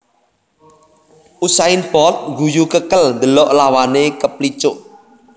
Usain Bolt ngguyu kekel ndelok lawane keplicuk